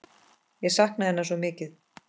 Ég sakna hennar svo mikið.